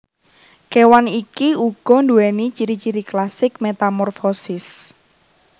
Kewan iki uga duwéni ciri ciri klasik metamorfosis